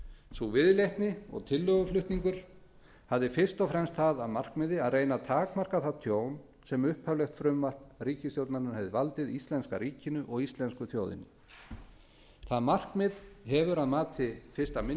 sú viðleitni og tillöguflutningur hafði fyrst og fremst það að markmiði að reyna að takmarka það tjón sem upphaflegt frumvarp ríkisstjórnarinnar hefði valdið íslenska ríkinu og íslensku þjóðinni það markmið hefur að mati fyrsti minni